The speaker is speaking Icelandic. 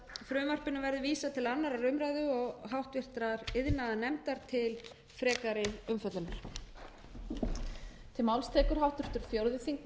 sögðu mælist ég til að frumvarpinu verði vísað til annarrar umræðu og háttvirtur iðnaðarnefndar til frekari umfjöllunar